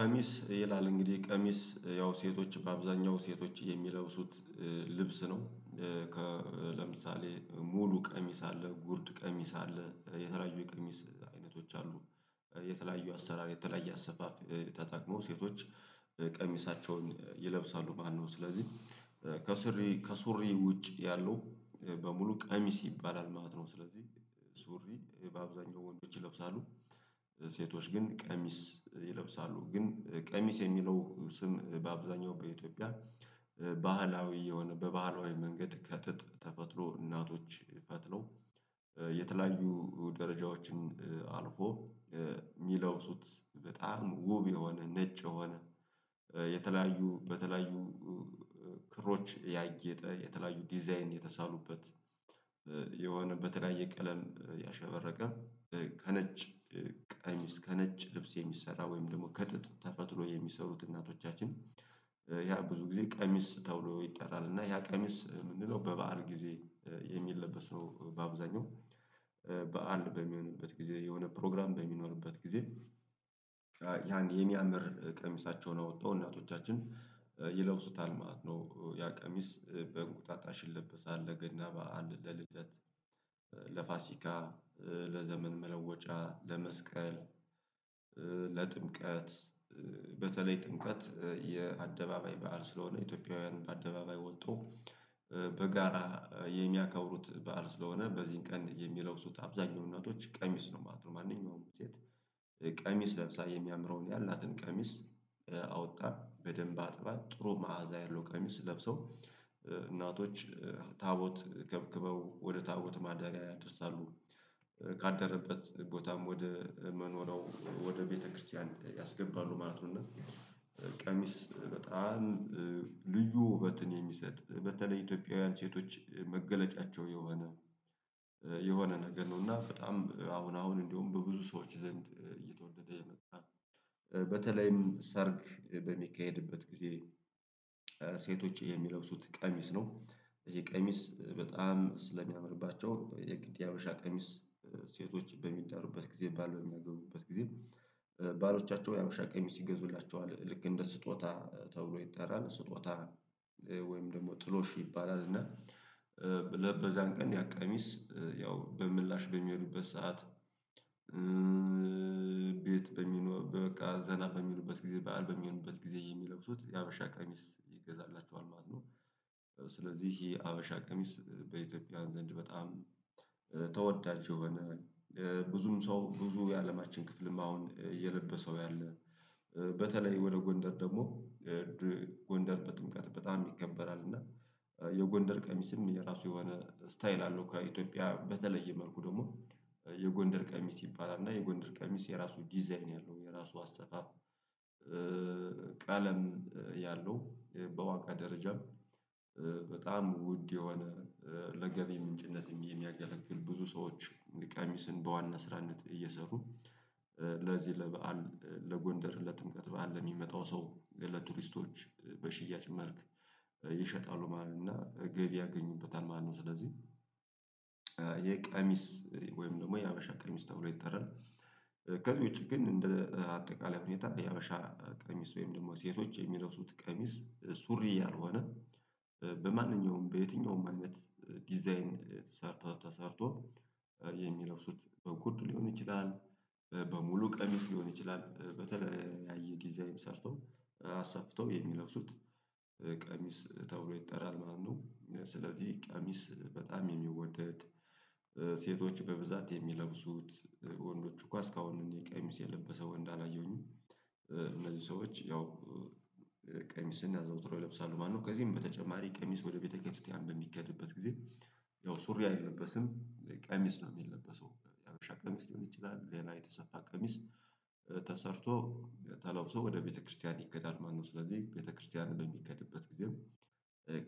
ቀሚስ ይላል እንግዲህ ቀሚስ ያው ሴቶች በአብዛኛው ሴቶች የሚለብሱት ልብስ ነው። ለምሳሌ ሙሉ ቀሚስ አለ ጉርድ ቀሚስ አለ የተለያዩ የቀሚስ አይነቶች አሉ። የተለያዩ አሰራር የተለያየ አሰፋፍ ተጠቅመው ሴቶች ቀሚሳቸውን ይለብሳሉ ማለት ነው። ስለዚህ ከሱሪ ውጭ ያሉ በሙሉ ቀሚስ ይባላል ማለት ነው። ስለዚህ ሱሪ በአብዛኛው ወንዶች ይለብሳሉ። ሴቶች ግን ቀሚስ ይለብሳሉ ግን ቀሚስ የሚለው ስም በአብዛኛው በኢትዮጵያ። ባህላዊ የሆነ በባህላዊ መንገድ ከትጥ ተፈትሎ እናቶች ፈትለው። የተለያዩ ደረጃዎችን አልፎ የሚለብሱት በጣም ውብ የሆነ ነጭ የሆነ የተለያዩ በተለያዩ ክሮች ያጌጠ የተለያዩ ዲዛይን የተሳሉበት። የሆነ በተለያየ ቀለም ያሸበረቀ ከነጭ ቀሚስ ከነጭ ልብስ የሚሰራ ወይም ደግሞ ከጥጥ ተፈትሎ የሚሰሩት እናቶቻችን። ያ ብዙ ጊዜ ቀሚስ ተውሎ ይጠራል እና ያ ቀሚስ የምንለው በበዓል ጊዜ የሚለበስ ነው። በአብዛኛው በዓል በሚሆንበት ጊዜ የሆነ ፕሮግራም በሚኖርበት ጊዜ ያን የሚያምር ቀሚሳቸውን አውጥተው እናቶቻችን ይለብሱታል ማለት ነው። ያ ቀሚስ በእንቁጣጣ ይለበሳል ለገና በዓል ለልደት ለፋሲካ ለዘመን መለወጫ ለመስቀል ለጥምቀት በተለይ ጥምቀት የአደባባይ በዓል ስለሆነ ኢትዮጵያውያን በአደባባይ ወጥቶ በጋራ የሚያከብሩት በዓል ስለሆነ በዚህን ቀን የሚለብሱት አብዛኛው እናቶች ቀሚስ ነው ማለት ነው። ማንኛውም ሴት ቀሚስ ለብሳ የሚያምረውን ያላትን ቀሚስ አወታ በደንብ አጥባ ጥሩ መዓዛ ያለው ቀሚስ ለብሰው እናቶች ታቦት ከብክበው ወደ ታቦት ማዳሪያ ያደርሳሉ። ካደረበት ቦታም ወደ መኖርያው ወደ ቤተ-ክርስቲያን ያስገባሉ ማለት ነው። ቀሚስ በጣም ልዩ ውበትን የሚሰጥ በተለይ ኢትዮጵያውያን ሴቶች መገለጫቸው የሆነ የሆነ ነገር ነው እና በጣም አሁን አሁን እንደውም በብዙ ሰዎች ዘንድ እየተወደደ የመጣ በተለይም ሰርግ በሚካሄድበት ጊዜ ሴቶች የሚለብሱት ቀሚስ ነው። ይሄ ቀሚስ በጣም ስለሚያምርባቸው የግድ የሀበሻ ቀሚስ ሴቶች በሚዳሩበት ጊዜ ባል በሚያገበው ጊዜ ባሎቻቸው የሀበሻ ቀሚስ ይገዙላቸዋል ልክ እንደ ስጦታ ተብሎ ይጠራል ስጦታ ወይም ደግሞ ጥሎሽ ይባላል። እና በዛን ቀን ያቀሚስ ያው በምላሽ በሚሄዱበት ሰዓት ቤት በሚለኞር በቃ ዘና በሚሉበት ጊዜ በዓል በሚሆኑበት ጊዜ የሚለብሱት የሀበሻ ቀሚስ ይገዛላችኋል ማለት ነው። ስለዚህ ይሄ ሀበሻ ቀሚስ በኢትዮጵያ ዘንድ በጣም ተወዳጅ የሆነ ብዙም ሰው ብዙ የአለማችን ክፍልም አሁን እየለበሰው ያለ በተለይ ወደ ጎንደር ደግሞ ጎንደር ጥምቀት በጣም ይከበራል እና የጎንደር ቀሚስን የራሱ የሆነ ስታይል አለው። ኢትዮጵያ በተለየ መልኩ ደግሞ የጎንደር ቀሚስ ይባላል እና የጎንደር ቀሚስ የራሱ ዲዛይን ያለው የራሱ አሰፋፍ። ቀለም ያለው በላቀ ደረጃም በጣም ውድ የሆነ ለገቢ ምንጭነት የሚያገለግል ብዙ ሰዎች ቀሚስን በዋና ስራነት እየሰሩ ለዚህ ለበአል ለጎንደር ለጥምቀት በዓል የሚመጣው ሰው ለቱሪስቶች በሽያጭ መልክ ይሸጣሉ ማለት ነው እና ገብ ያገኙበታል ማለት ነው። ስለዚህ ይሄ ቀሚስ ወይም ደግሞ የሀበሻ ቀሚስ ተብሎ ይጠራል። ከዚህ ውጪ ግን እንደ አጠቃላይ ሁኔታ የሀበሻ ቀሚስ ወይም ደግሞ ሴቶች የሚለቅሱት ቀሚስ ሱሪ ያልሆነ በማንኛውም በየትኛውም አይነት ዲዛይን ተሰርቶ ተሰርቶ የሚለብሱት በጉርድ ሊሆን ይችላል በሙሉ ቀሚስ ሊሆን ይችላል በተለያየ ዲዛይን ሰርተው አሰፍተው የሚለብሱት ቀሚስ ተብሎ ይጠራል ማለት ነው። ስለዚህ ቀሚስ በጣም የሚወደድ ሴቶች በብዛት የሚለብሱት ወንዶቹ እኮ አስካሁን እንደ ቀሚስ የለበሰ ወንድ አላየሁኝም። እነዚህ ሰዎች ያው ቀሚስን አዘውትሮ ይለብሳሉ ማለት ነው። ከዚህም በተጨማሪ ቀሚስ ወደ ቤተክርያን በሚኬድበት ጊዜ ያው ሱሪ አይለበስም ቀሚስ ነው የሚለበሰው የሀበሻ ቀሚስ ሊሆን ይችላል ሌላ የተሰፋ ቀሚስ ተሰርቶ ተላውሶ ወደ ቤተክርስቲያን ይኬዳል ማለት ነው። ስለዚህ ቤተክርስቲያን በሚኬድበት ጊዜም